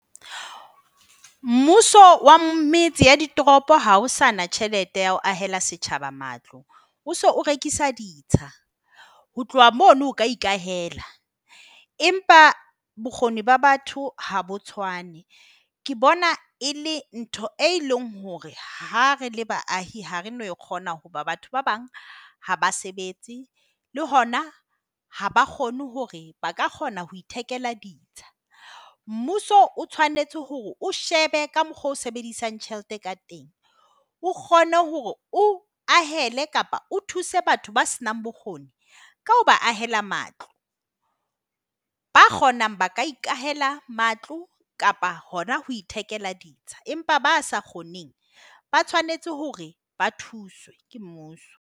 Mmuso wa metse ya ditoropo ha o sa na tjhelete ya ho ahela setjhaba matlo. O so o rekisa ditsha. Ho tloha mono o ka ikahela empa bokgoni ba batho ha bo tshwane. Ke bona e le ntho e leng hore ha re le baahi, ha re no e kgona hoba batho ba bang ha ba sebetse. Le hona ha ba kgone hore ba ka kgona ho ithekela ditsha. Mmuso o tshwanetse hore o shebe ka mokgwa oo o sebedisang tjhelete ka teng, o kgone hore o ahele kapa o thuse batho ba senang bokgoni, ka ho ba ahela matlo. Ba kgonang ba ka ikahala matlo kapa hona ho ithekela ditsha. Empa ba sa kgoneng ba tshwanetse hore ba thuswe ke mmuso.